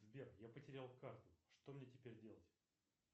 сбер я потерял карту что мне теперь делать